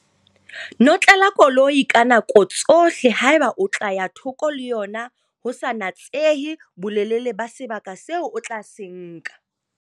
Notlela koloi ka nako tsohle haeba o tla ya thoko le yona ho sa natsehe bolelele ba sebaka seo o tla se nka.